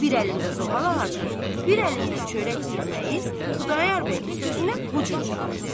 Bir əlində zoğal ağacı, bir əlində çörək dürməyi, Xudayar bəyin sözünə bu cür cavab verdi.